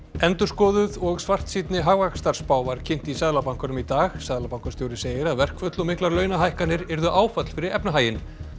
endurskoðuð og svartsýnni hagvaxtarspá var kynnt í Seðlabankanum í dag seðlabankastjóri segir að verkföll og miklar launahækkanir yrðu áfall fyrir efnahaginn